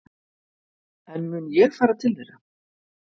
En mun ég fara til þeirra?